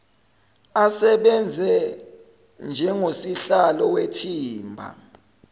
asebenze njengosihlalo wethimba